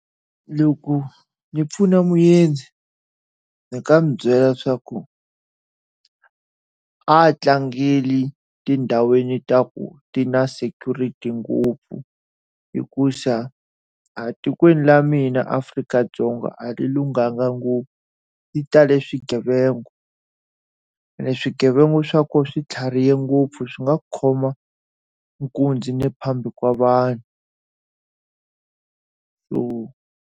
Loko ni pfuna muendzi, ndzi nga n'wi byela leswaku a tlangeli tindhawini ta ku ti na security ngopfu hikuva a tikweni ra mina Afrika-Dzonga a ri lunghanga ngopfu. Ri tale swigevenga ene swigevenga swa kona swi tlharihe ngopfu swi nga ku khoma nkunzi na le phambi ka vanhu.